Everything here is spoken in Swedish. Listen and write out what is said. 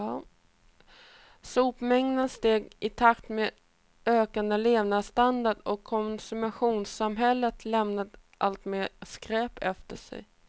Sopmängden steg i takt med ökande levnadsstandard och konsumtionssamhället lämnade alltmer skräp efter sig.